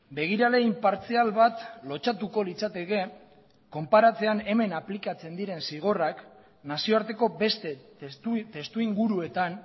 begirale inpartzial bat lotsatuko litzateke konparatzean hemen aplikatzen diren zigorrak nazioarteko beste testuinguruetan